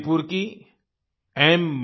मणिपुर की एम